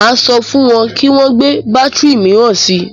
Máa sọ fún wọn kí wọn gbé bátìrì míràn si.